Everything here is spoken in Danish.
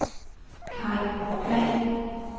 Kaj Pagh